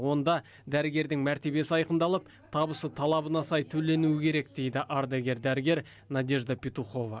онда дәрігердің мәртебесі айқындалып табысы талабына сай төленуі керек дейді ардагер дәрігер надежда петухова